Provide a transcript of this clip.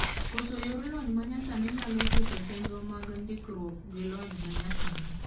Koso yor lony manyasani nyalo chocho chenro mag ndikruok gilony manyasani.